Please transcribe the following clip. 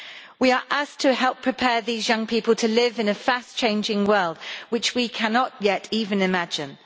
We are asked to help prepare these young people to live in a fast changing world which we cannot yet even imagine.